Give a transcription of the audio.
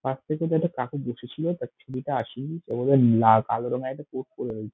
pass থেকে যে এক কাকু বসে ছিল তার ছবিতে আসি ও বোধহয় লা কালো রঙের একটা কোট পরে রয়ে--